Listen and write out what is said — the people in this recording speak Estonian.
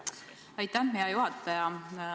Aitäh, hea juhataja!